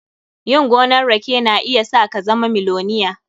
Yin gonan rake na iya sa ka zama miloniya.